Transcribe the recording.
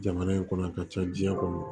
Jamana in kɔnɔ a ka ca diɲɛ kɔnɔ